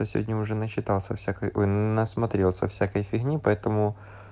за сегодня уже начитался всякой ой насмотрелся всякой фигни поэтому